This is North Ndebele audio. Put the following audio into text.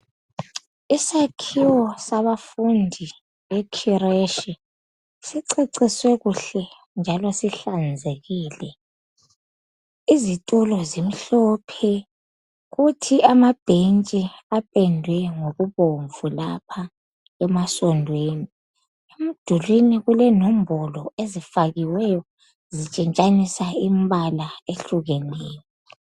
Isakhiwo sabafundi bekhireshi siceciswe kuhle njalo sihlanzekile. Izitolo zimhlophe kuthi amabhentshi apendwe ngokubomvu lapha emasondweni .Emdulwini kulenombolo ezifakiweyo zitshintshanisa imbala eyehlukeneyo .